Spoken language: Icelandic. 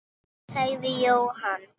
sagði Jóhann.